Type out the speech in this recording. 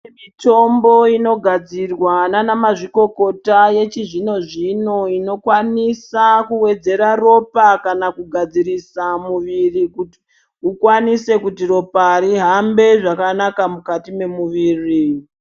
Mitombo inogadzirwa navanamazvikokota yechizvino-zvino inokwanisa kuwedzerwa ropa kana kugadzirisa muviri kuti ropa rikwanise kuhamba zvakanaka mukati mwemumwiri.